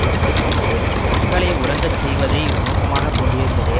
எடுத்து கொண்டது மக்களை உறங்கச் செய்வதை நோக்கமாக கொண்டிருந்ததே